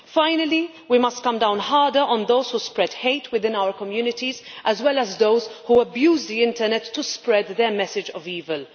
Finally, we must come down harder on those who spread hate within our communities, as well as those who abuse the internet to spread their message of evil.